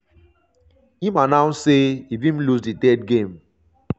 im announce say if im lose di third game